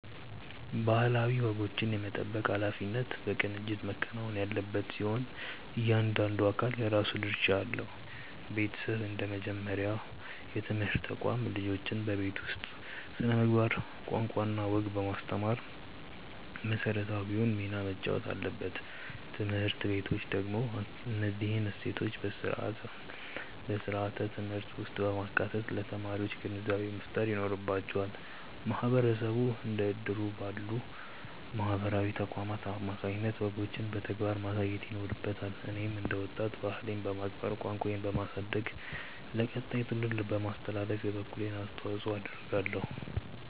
ባህላዊ ወጎችን የመጠበቅ ኃላፊነት በቅንጅት መከናወን ያለበት ሲሆን፣ እያንዳንዱ አካል የራሱ ድርሻ አለው። ቤተሰብ እንደ መጀመሪያው የትምህርት ተቋም፣ ልጆችን በቤት ውስጥ ስነ-ምግባር፣ ቋንቋና ወግ በማስተማር መሰረታዊውን ሚና መጫወት አለበት። ትምህርት ቤቶች ደግሞ እነዚህን እሴቶች በስርዓተ-ትምህርት ውስጥ በማካተት ለተማሪዎች ግንዛቤ መፍጠር ይኖርባቸዋል። ማህበረሰቡ እንደ እድር ባሉ ማህበራዊ ተቋማት አማካኝነት ወጎችን በተግባር ማሳየት ይኖርበታል። እኔም እንደ ወጣት፣ ባህሌን በማክበር፣ ቋንቋዬን በማሳደግና ለቀጣዩ ትውልድ በማስተላለፍ የበኩሌን አስተዋጽኦ አደርጋለሁ።